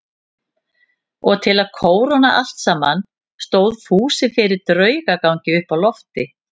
Og til að kóróna allt saman stóð Fúsi fyrir draugagangi uppi á lofti.